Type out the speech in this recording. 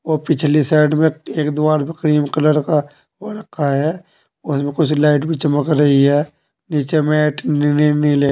वो पिछली साइड में एक दीवार पे क्रीम कलर का वो रखा है। उसमें कुछ लाइट भी चमक रही है। नीचे मैट नीनी नीले --